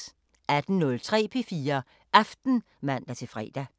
18:03: P4 Aften (man-fre)